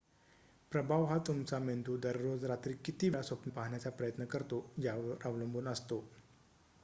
प्रभाव हा तुमचा मेंदू दररोज रात्री किती वेळा स्वप्न पाहण्याचा प्रयत्न करतो यावर अवलंबून असतो